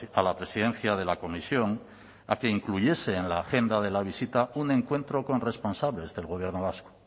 a la presidencia de la comisión a que incluyese en la agenda de la visita un encuentro con responsables del gobierno vasco